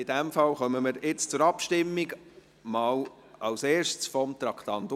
In diesem Fall kommen wir jetzt zur Abstimmung, mal als Erstes betreffend Traktandum 14.